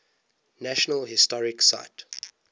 national historic site